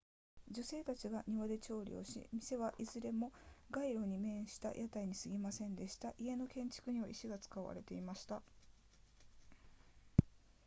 女性たちが庭で調理をし店はいずれも街路に面した屋台に過ぎませんでした家の建築には石が使われていました